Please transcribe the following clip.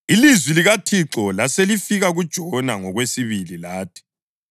Ilizwi likaThixo laselifika kuJona ngokwesibili lathi: